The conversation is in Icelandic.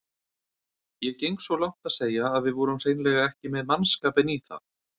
Ég geng svo langt að segja að við vorum hreinlega ekki með mannskapinn í það.